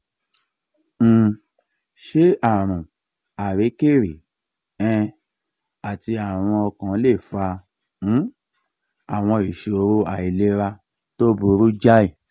um ṣé àrùn àríkèrí um àti àrùn ọkàn lè fa um àwọn ìṣòro àìlera tó burú jáì?